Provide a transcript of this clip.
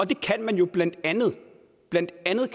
det kan man jo blandt andet blandt andet